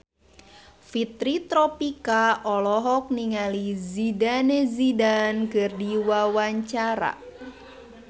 Fitri Tropika olohok ningali Zidane Zidane keur diwawancara